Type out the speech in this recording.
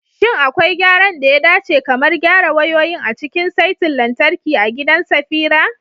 Shin akwai gyaran da ya dace, kamar gyara wayoyin, a cikin saitin lantarki a gidan Safira?